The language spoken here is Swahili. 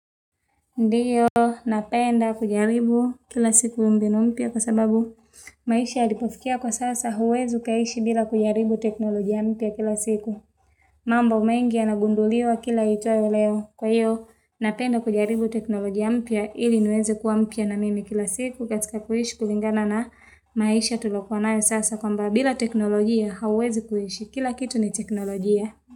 Ndiyo, napenda kujaribu kila siku mbinu mpya kwa sababu maisha yalipofikia kwa sasa hauwezi ukaishi bila kujaribu teknolojia mpya kila siku. Mambo mengi yanagunduliwa kila ijayo leo. Kwa iyo, napenda kujaribu teknolojia mpya ili niweze kuwa mpya na mimi kila siku katika kuishi kulingana na maisha tuliokuwa nayo sasa kwamba bila teknolojia hauwezi kuishi. Kila kitu ni teknolojia.